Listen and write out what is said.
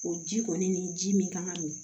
O ji kɔni ni ji min kan ka min